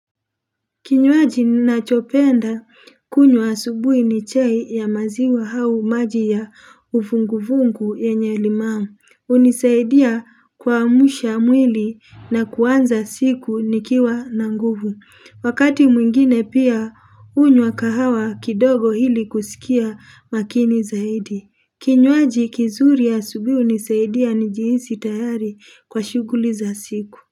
Kinywaji nina chopenda kunywa asubuhi ni chai ya maziwa au maji ya uvunguvungu yenye limao. Hunisaidia kuamsha mwili na kuanza siku nikiwa na nguvu. Wakati mwingine pia unywa kahawa kidogo hili kusikia makini zaidi. Kinywaji kizuri ya asubuhi hunisaidia njihisi tayari kwa shughuli za siku.